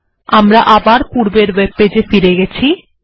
আমরা আবার পূর্বের ওয়েবপেজ ফিরে গেছি